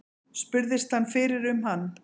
Spurðist hann fyrir um hann.